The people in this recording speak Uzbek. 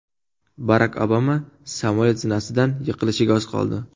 Barak Obama samolyot zinasidan yiqilishiga oz qoldi .